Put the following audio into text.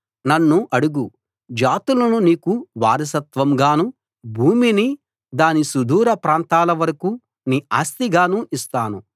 నన్ను అడుగు జాతులను నీకు వారసత్వంగానూ భూమిని దాని సుదూర ప్రాంతాల వరకూ నీ ఆస్తిగానూ ఇస్తాను